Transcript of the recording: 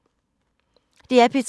DR P3